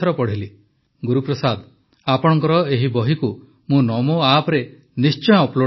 ଗୁରୁପ୍ରସାଦ ଆପଣଙ୍କର ଏହି ବହିକୁ ମୁଁ ନମୋ ଆପରେ ନିଶ୍ଚୟ ଅପଲୋଡ଼ କରାଇବି